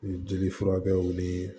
U ye jeli furakɛw nii